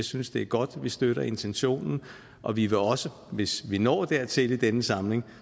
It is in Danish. synes det er godt og vi støtter intentionen og vi vil også hvis vi når dertil i denne samling